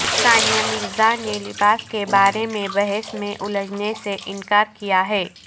ثانیہ مرزا نے لباس کے بارے میں بحث میں الجھنے سے انکار کیا ہے